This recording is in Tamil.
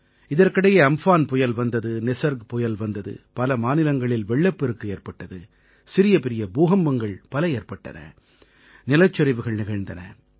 இதற்கிடையே அம்ஃபான் புயல் வந்தது நிஸர்க் புயல் வந்தது பல மாநிலங்களில் வெள்ளப்பெருக்கு ஏற்பட்டது சிறியபெரிய பூகம்பங்கள் பல ஏற்பட்டன நிலச்சரிவுகள் நிகழ்ந்தன